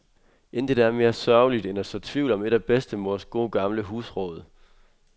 Intet er mere sørgeligt end at så tvivl om et af bedstemors gode gamle husråd.